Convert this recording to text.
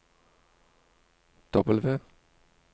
W